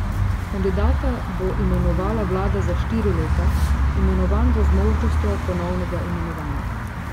Kandidata bo imenovala vlada za štiri leta, imenovan bo z možnostjo ponovnega imenovanja.